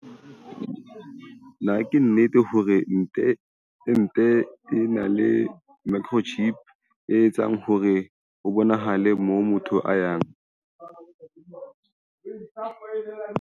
Potso- Na ke nnete hore ente e na le microchip, e etsang hore ho bonahale moo motho a yang?